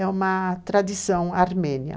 É uma tradição armênia.